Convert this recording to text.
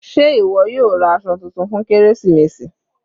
Sé ìwọ yóò ra aṣọ titun fún kérésìmesì?